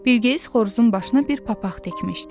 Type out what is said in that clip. Bilqeyis xoruzun başına bir papaq tikmişdi.